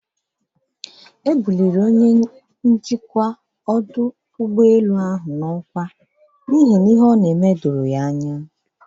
E bụlịrị Onye njikwa ọdụ ụgbọelu ahụ n'ọkwa maka n'ihe ọ n'eme doro ya anya.